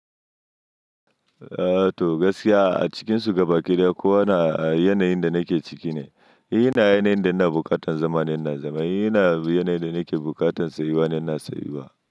Ehh toh gaskiya a cikinsu gabaki ɗaya kowana yanayin da nake ciki ne. Yana yanayin da ina bukatan zama ne ina zama. Yana yanayin da nake bukatan tsayu wa ne in tsayuwa.